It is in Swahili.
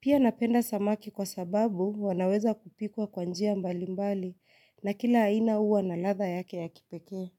Pia napenda samaki kwa sababu wanaweza kupikwa kwa njia mbali mbali na kila aina uwa na ladha yake ya kipeke.